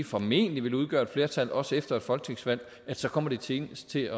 formentlig vil udgøre et flertal også efter et folketingsvalg at så kommer det senest til